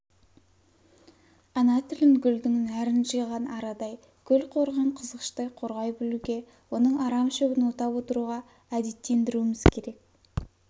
ана тілін гүлдің нәрін жиған арадай көл қорыған қызғыштай қорғай білуге оның арам шөбін отап отыруға әдеттендіруіміз керек